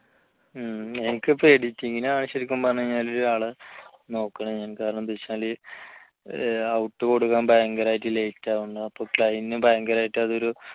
മ് എനിക്ക് ഇപ്പോ editing ആണ് ശരിക്കും പറഞ്ഞ് കഴിഞ്ഞാൽ ഒരാളെ നോക്കണ് ഞാൻ കാരണം എന്താണെന്ന് വെച്ചാൽ out കൊടുക്കാൻ ഭയങ്കരമായിട്ട് late ആകുന്നുുന്നുണ്ട് അപ്പൊ client ന് ഭയങ്കരമായിട്ട് അതൊരു